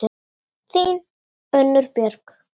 Þín, Unnur Björg.